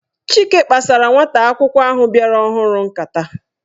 Chike kpasara nwata akwụkwọ ahụ bịara ọhụrụ nkata.